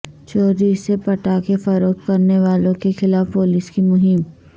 چوری سے پٹاخے فروخت کرنے والوں کے خلاف پولیس کی مہم